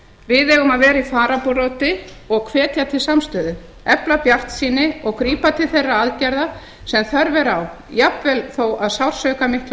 við eigum að vera í fararbroddi og hvetja til samstöðu efla bjartsýni og grípa til þeirra aðgerða sem þörf er á jafnvel þó að sársaukar miklir